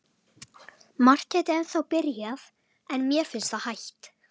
Margt gæti ennþá byrjað, en mér finnst það hætt.